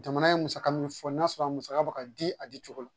Jamana ye musaka mun fɔ n'a sɔrɔ a musaka bɛ ka di a di cogo la